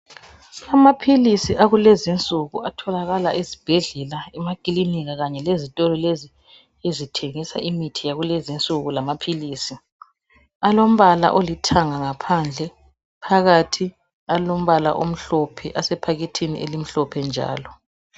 Amaphilisi akulezinsuku atholakala ezibhedlela emakilinika Kanye lezitolo lezi ezithengisa imithi yakulezinsuku lamaphilisi. Alombala olithanga ngaphandle phakathi alombala omhlophe asephakethini elimhlophe njalo